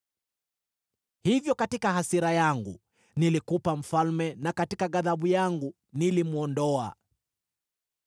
Hivyo katika hasira yangu nilikupa mfalme na katika ghadhabu yangu nilimwondoa.